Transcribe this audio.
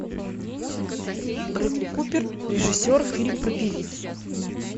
бредли купер режиссер фильм про певицу